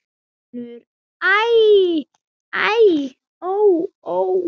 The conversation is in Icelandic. UNNUR: Æ, æ, ó, ó!